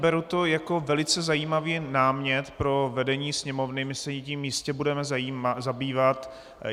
Beru to jako velice zajímavý námět pro vedení Sněmovny, my se tím jistě budeme zabývat.